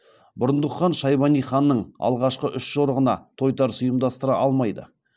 бұрындық хан шайбани ханның алғашқы үш жорығына тойтарыс ұйымдастыра алмайды